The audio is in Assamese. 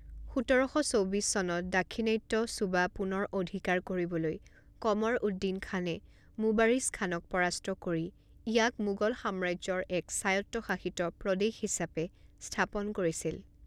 সোতৰ শ চৌবিছ চনত দাক্ষিণাত্য সুবা পুনৰ অধিকাৰ কৰিবলৈ কমৰ উদ্দিন খানে মুবাৰিজ খানক পৰাস্ত কৰি ইয়াক মোগল সাম্ৰাজ্যৰ এক স্বায়ত্তশাসিত প্ৰদেশ হিচাপে স্থাপন কৰিছিল।